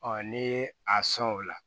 n'i ye a sɔn o la